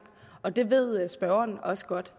og det ved spørgeren også godt